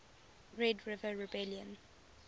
red river rebellion